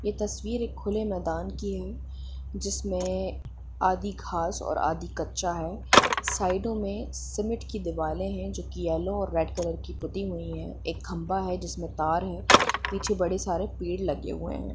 ये तस्वीर एक खुले मैदान की है जिसमें आधी घास और आधी कच्चा है साइडो मे सीमेंट की दीवाले है जो की येल्लो और रेड कलर की पुती हुई है एक खम्बा है जिसमे तार है पीछे बड़े सारे पेड़ लगे हुए है।